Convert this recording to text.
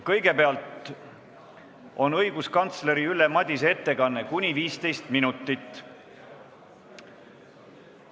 Kõigepealt on õiguskantsler Ülle Madise ettekanne kuni 15 minutit.